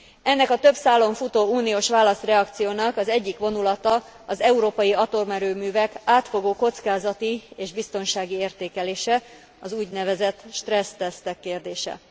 Ennek a több szálon futó uniós válaszreakciónak az egyik vonulata az európai atomerőművek átfogó kockázati és biztonsági értékelése, az úgynevezett stressztesztek kérdése.